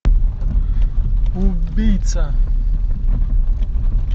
убийца